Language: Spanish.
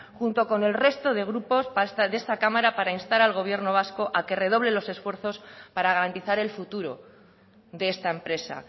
junto con el resto de grupos de esta cámara para instar al gobierno vasco a que redoble los esfuerzos para garantizar el futuro de esta empresa